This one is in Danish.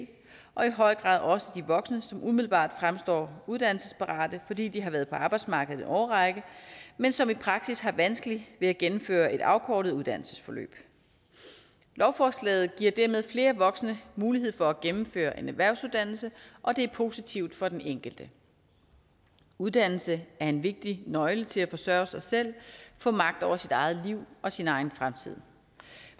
og i høj grad også de voksne som umiddelbart fremstår uddannelsesparate fordi de har været på arbejdsmarkedet årrække men som i praksis har vanskeligt ved at gennemføre et afkortet uddannelsesforløb lovforslaget giver dermed flere voksne mulighed for at gennemføre en erhvervsuddannelse og det er positivt for den enkelte uddannelse er en vigtig nøgle til at forsørge sig selv og få magt over sit eget liv og sin egen fremtid